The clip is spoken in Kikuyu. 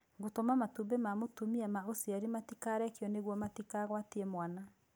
Gũtũma matũmbĩ ma mũtumia ma ũciari matikarekio nĩguo matikagwatie mwana.